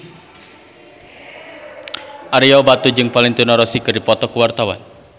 Ario Batu jeung Valentino Rossi keur dipoto ku wartawan